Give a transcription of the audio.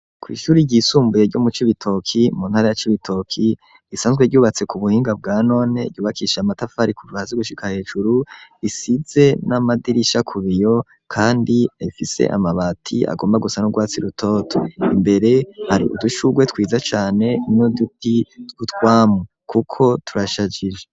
kw'ishuri ryisumbuye ryo mu cibitoki mu ntara ya cibitoki risanzwe ryubatse ku buhinga bwa none ryubakishe amatafari kuva hasi gushika hejuru risize n'amadirisha kubiyo kandi rifise amabati agomba gusa n'ugwatsi rutoto imbere hari udushugwe twiza cane n'uduti twutwamu kuko turashajije.